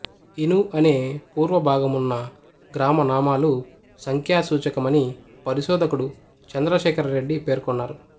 ఇను అనే పూర్వభాగమున్న గ్రామనామాలు సంఖ్యా సూచకమని పరిశోధకుడు చంద్రశేఖరరెడ్డి పేర్కొన్నారు